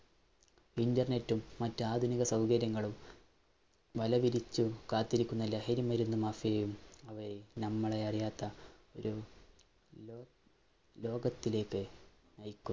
Internet ഉം, മറ്റ് ആധുനിക സൌകര്യങ്ങളും വല വിരിച്ചു കാത്തിരിക്കുന്ന ലഹരിമരുന്നു മാഫിയയുംനമ്മളെ അറിയാത്ത ഒരു ലോകത്തിലേയ്ക്ക്